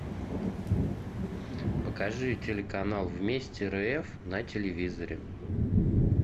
покажи телеканал вместе рф на телевизоре